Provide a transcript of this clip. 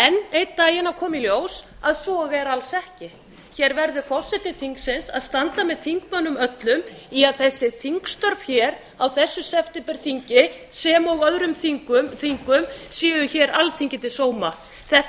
einn daginn að koma í ljós að svo er alls ekki hér verður forseti þingsins að standa með þingmönnum öllum í að þessi þingstörf hér á þessu septemberþingi sem og öðrum þingum séu hér alþingi til sóma þetta